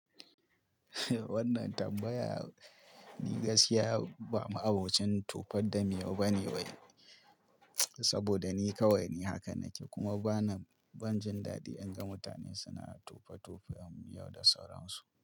Wannan tambaya ni gaskiya ba ma abocin tofar da miyau bane wai, saboda ni kawai ni haka nake kuma bana ban jin daɗi in ga mutane suna tofe-tofen miyau da sauransu.